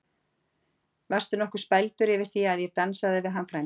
Varstu nokkuð spældur yfir því að ég dansaði við hann frænda þinn?